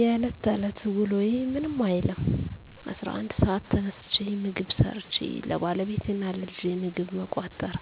የለት ተለት ውሎዬ ምንም አይልም። 11:00 ሰዓት ተነስቼ ምግብ ሠርቸ ለባለቤቴ እና ለልጄ ምግብ መቋጠር